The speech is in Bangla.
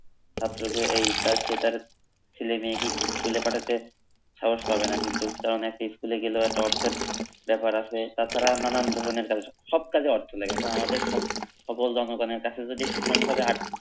ছাত্রকে এইটা সেইটার ছেলেমেয়েকে স্কুলে পাঠাতে সাহস পাবে না কিন্তু কারণ একটা স্কুলে গেলে হয়তো অর্থের ব্যাপার আছে তাছাড়া নানান ধরণের কাজে সবকাজে অর্থ লাগে এখন আমাদের সো সকল জনগণের কাছে যদি সুষমভাবে আর্থ